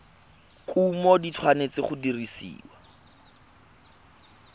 kumo di tshwanetse go dirisiwa